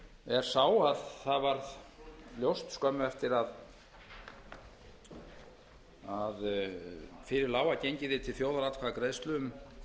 er sá að það varð ljóst skömmu eftir að fyrir lá að gengið yrði til þjóðaratkvæðagreiðslu um